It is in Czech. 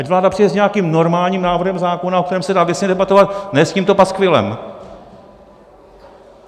Ať vláda přijde s nějakým normálním návrhem zákona, o kterém se dá věcně debatovat, ne s tímto paskvilem.